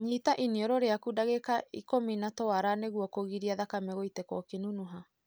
Nyita iniũrũ rĩaku dagika ikũmĩ na twara nĩguo kũgiria thakame gũitĩka ũkĩnunuha.